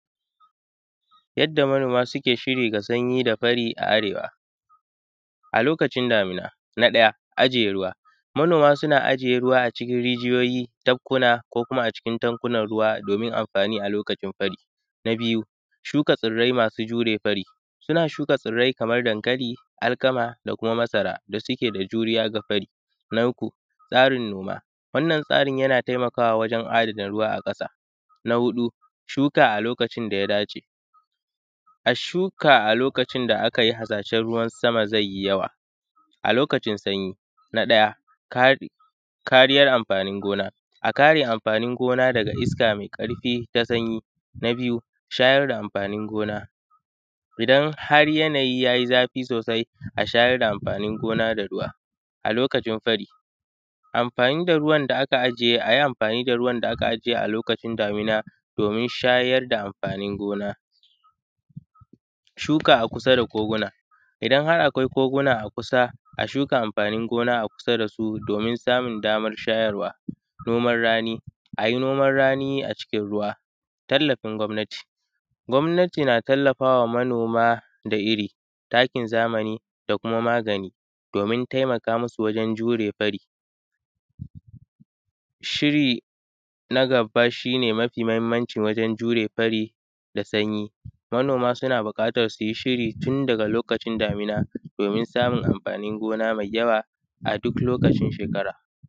Yadda manoma suke shiri ga sanyi da fari a arewa a lokacin damina na ɗaya, ajiye ruwa manoma suna ajiye ruwa a cikin rijiyoyi, tabkuna ko kuma a cikin tankuna ruwa domin amfani a lokacin fari, na biyu, shuka tsirai masu jure fari suna shuka tsarai kaman dankali, alkama da kuma masara da suke da juriya ga fari nan uku, tsarin noma wannan tsarin yana taimakawa wajen adana ruwa a ƙasa, na huɗu, shuka a lokacin da ya dace, a shuka a lokacin da aka yi harsashen ruwa sama zai yi yawa a lokacin sanyi, na ɗaya kari kariyan amfanin gona a kare amfanin gona daga iska mai ƙarfi ta sanyi, na biyu, shayar da amfanin gona idan har yanayi yayi zafi sosai a shayar da amfanin da ruwa a lokacin fari, amfani da ruwan da aka ajiye ayi amfani da ruwan da aka ajiye a lokacin damina domin shayar da amfanin gona,, shuka a kusa da koguna idan har akwai koguna a kusa a shuka amfanin gona a kusa da su domin samun damar shayarwa, noman rani ayi noman rani a cikin ruwa, tallafin gwamnati, gwamnati na tallafawa manoma da iri, takin zamani, da kuma magani domin taimakamusu wajen jure fari, shiri na gaba shi ne mafi mahimmanci wajen jure fari da sanyi manoma suna buƙatan suyi shiri tun daga lokacin damina domin samun amfanin gona mai yawa a duk lokacin shekara.